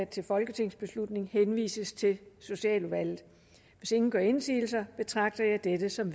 til folketingsbeslutning henvises til socialudvalget hvis ingen gør indsigelse betragter jeg dette som